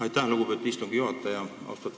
Aitäh, lugupeetud istungi juhataja!